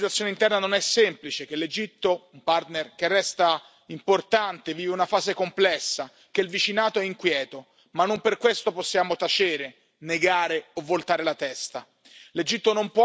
Sappiamo bene che la situazione interna non è semplice, che l'Egitto, un partner che resta importante, vive una fase complessa, che il vicinato è inquieto, ma non per questo possiamo tacere, negare o voltare la testa.